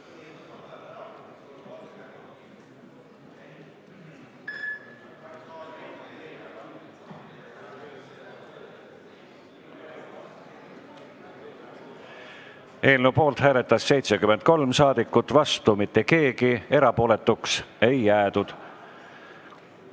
Hääletustulemused Eelnõu poolt hääletas 73 saadikut, vastu mitte keegi, erapooletuks ei jäädud.